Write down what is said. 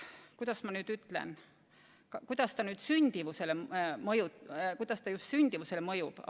Kuidas ma nüüd ütlen, kuidas see sündimusele mõjub ...